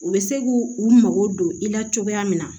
U bɛ se k'u u mago don i la cogoya min na